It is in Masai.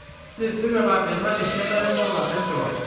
tapasali tipika ena esiana endala enchula